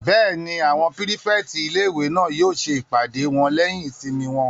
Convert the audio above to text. Bẹ́ẹ̀ni, àwọn pírífẹ̀tì ilé-ìwé náà yóò ṣe ìpàdé wọn lẹ́yìn ìsinmi wọn